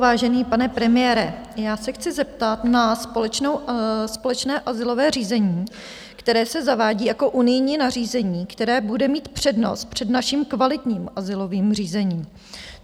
Vážený pane premiére, já se chci zeptat na společné azylové řízení, které se zavádí jako unijní nařízení, které bude mít přednost před naším kvalitním azylovým řízením.